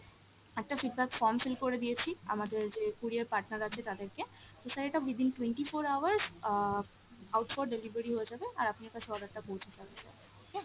একটা feedback form fill করে দিয়েছি আমাদের যে courier partner আছে তাদেরকে, তো sir এটা within twenty four hours ah out for delivery হয়ে যাবে আর আপনি আপনার product টা পৌঁছে যাবে sir, okay?